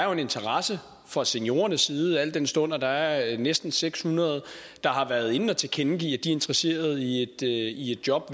er en interesse fra seniorernes side al den stund der der er næsten seks hundrede der har været inde at tilkendegive at de er interesseret i et job